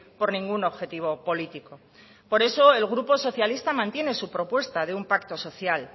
por ningún objetivo político por eso el grupo socialista mantiene su propuesta de un pacto social